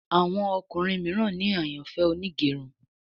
Àwọn ọkùnrin míràn ní àyànfẹ Onigerun